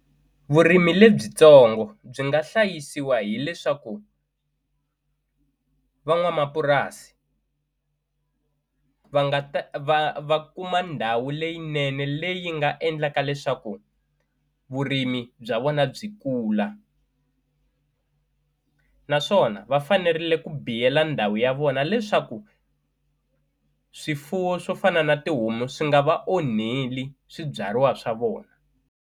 Vurimi lebyitsongo byi nga hlayisiwa hileswaku van'wamapurasi va nga ta va va kuma ndhawu leyinene leyi nga endlaka leswaku vurimi bya vona byi kula naswona va fanerile ku biyela ndhawu ya vona leswaku swifuwo swo fana na tihomu swi nga va onheli swibyariwa swa vona.